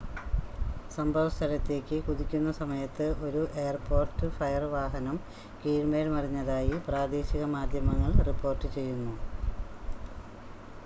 സംഭവ സ്ഥലത്തേക്ക് കുതിക്കുന്ന സമയത്ത് ഒരു എയർപോർട്ട് ഫയർ വാഹനം കീഴ്‌മേൽ മറിഞ്ഞതായി പ്രാദേശിക മാധ്യമങ്ങൾ റിപ്പോർട്ട് ചെയ്യുന്നു